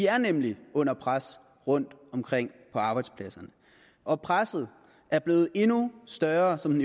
er nemlig under pres rundtomkring på arbejdspladserne og presset er blevet endnu større som